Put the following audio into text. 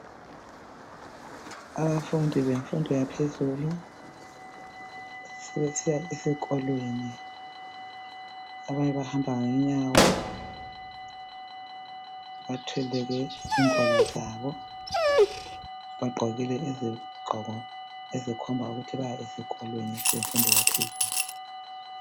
Abafundi bemfundo yaphezulu sebesiya esikolweni. Abanye bahamba ngenyawo , bathwele ingwalo zabo, bagqokile izigqoko ezikhomba ukuthi baya esikolweni semfundo yaphezulu.